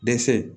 Dɛsɛ